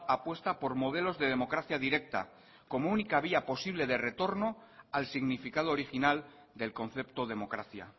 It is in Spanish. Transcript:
apuesta por modelos de democracia directa como única vía posible de retorno al significado original del concepto democracia